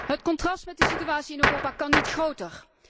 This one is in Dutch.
Het contrast met de situatie in Europa kan niet groter.